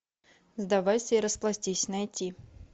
сдавайся и расплатись найти